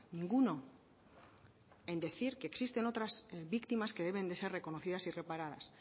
ninguno en decir que existen otras víctimas que deben d ser reconocidas y reparadas